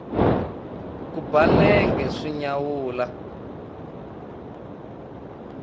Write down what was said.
ku ba nenge swi nyawula